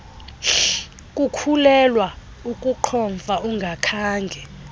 kukhulelwa ukuqhomfa ungakhange